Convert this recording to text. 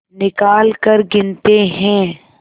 निकालकर गिनते हैं